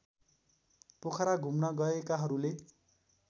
पोखरा घुम्न गएकाहरूले